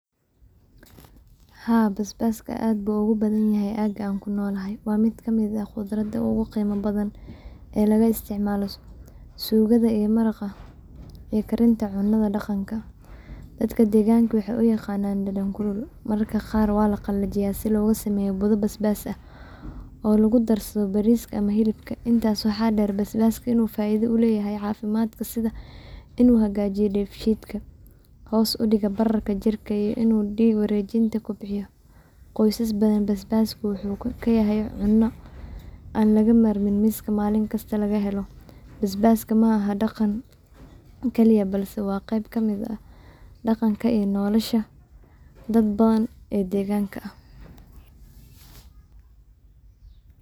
Haa basbaska aad bu ogu badana yahay aga anku nolahay, waa mid kamid ah qudrada ogu qeyma badan ey laga isticmaala sugada iyo maraqa ee karinta cunada dhaqanka Dadka deegganka waxay uyaqanan dhedhan kulul, mararka qaar waa laqalajiya si loga sameeyo buda basbas ah oo logu darsado bariska ama hilibka, intaas waxaa dheer basbaska inu faa'iida uleyahay caafimaadka sida inu hagaajiyo debshidka hoos udhiga bararka iyo inu wareejinta kobciyo, qoysas badan basbasku wuxuu kayahay cuno an laga marmin miska malin kista laga helo, basbaska ma aha dhaqan keliya balse waa qeb kamid ah daqanka iyo nolosha dad badan ee deganka ah